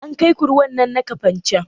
An kai ku ruwan nan na kafancan?